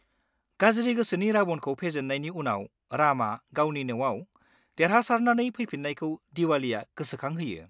गाज्रि गोसोनि राबनखौ फेजेन्नायनि उनाव रामआ गावनि न'आव देरहासारनानै फैफिन्नायखौ दिवालीया गोसोखांहोयो।